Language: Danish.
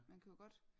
Man kan jo godt